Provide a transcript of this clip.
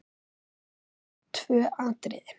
Einkum eru nefnd tvö atriði.